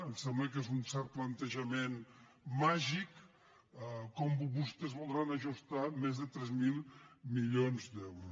em sembla que és un cert planteja·ment màgic com vostès voldran ajustar més de tres mil milions d’euros